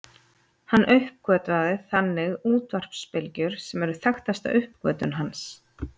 Hann uppgötvaði þannig útvarpsbylgjur sem eru þekktasta uppgötvun hans.